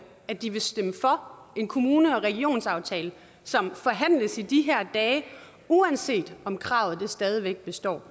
at de vil stemme for en kommune og regionsaftale som forhandles i de her dage uanset om kravet stadig består